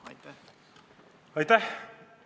Aitäh!